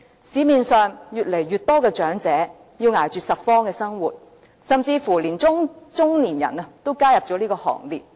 市面上越來越多長者要捱着拾荒的生活，甚至連中年人都加入這個行列。